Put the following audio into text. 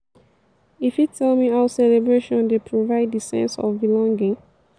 you fit tell me how celebration dey provide di sense of belonging?